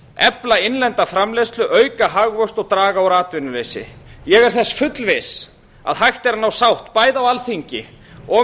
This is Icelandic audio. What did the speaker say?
efla innlenda framleiðslu auka hagvöxt og draga úr atvinnuleysi ég er þess fullviss að hægt er að ná sátt bæði á alþingi og